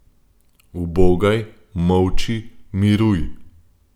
Ubogaj, molči, miruj.